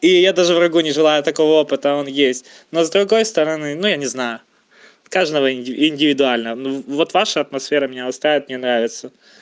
и я даже врагу не желаю такого опыта он есть но с другой стороны но я не знаю каждого и индивидуально ну вот ваша атмосфера меня устраивает мне нравится